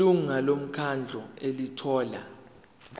ilungu lomkhandlu elithola